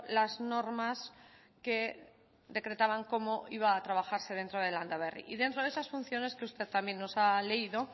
las normas que decretaban cómo iba a trabajarse dentro de landaberri y dentro de esas funciones que usted también nos ha leído